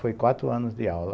Foi quatro anos de aula.